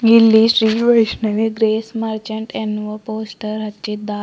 ಇಲ್ಲಿ Shri Vaishnavi Grace Merchant ಎಂದು poster ಹಚ್ಚಿದ್ದಾರೆ.